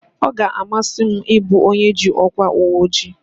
Ee, ọ ga-amasị m ị bụ onye ji ọkwa uweojii